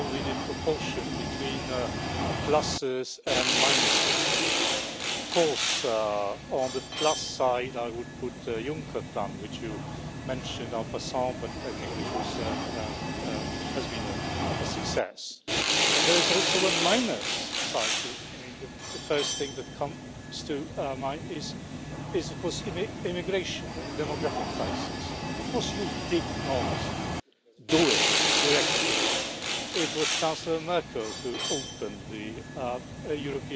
somehow. When you mentioned that you wanted to have qualified majority votes in more areas of policy, public life in Europe, you are in for more trouble because that will petrify this system, in which some actors are equal and some are more equal than others and in which the decision making process is extremely obscure. Nobody knows who makes the decisions, and the division between north and south, east and west are still